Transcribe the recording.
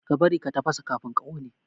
Ka bari ka tafasa kafin ka kone!